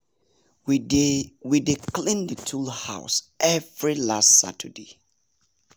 we dey we dey clean the tool house every last saturday.